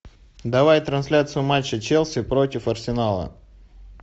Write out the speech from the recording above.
давай трансляцию матча челси против арсенала